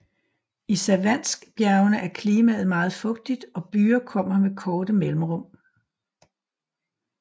I Savanskbjergene er klimaet meget fugtigt og byger kommer med korte mellemrum